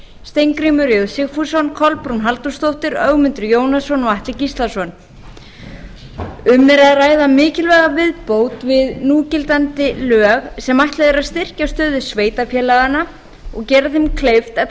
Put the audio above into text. steingrímur j sigfússon kolbrún halldórsdóttir ögmundur jónasson og atli gíslason um er að ræða mikilvæga viðbót við núgildandi lög sem er ætlað að styrkja stöðu sveitarfélaganna og gera þeim kleift að